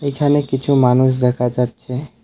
এখানে কিছু মানুষ দেখা যাচ্ছে।